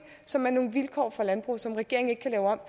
som er nogle vilkår for landbruget som regeringen ikke kan lave om